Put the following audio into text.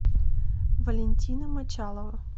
валентина мочалова